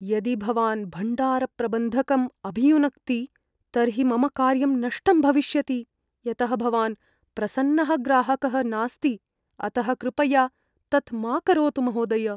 यदि भवान् भण्डारप्रबन्धकम् अभियुनक्ति तर्हि मम कार्यं नष्टम् भविष्यति यतः भवान् प्रसन्नः ग्राहकः नास्ति, अतः कृपया तत् मा करोतु, महोदय।